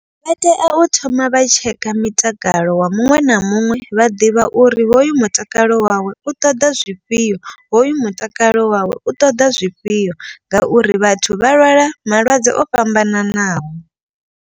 Vha tea u thoma vha tsheka mutakalo wa muṅwe na muṅwe vha ḓivha uri hoyu mutakalo wawe u ṱoḓa zwifhio. Hoyu mutakalo wawe u ṱoḓa zwifhio ngauri vhathu vha lwala malwadze o fhambananaho.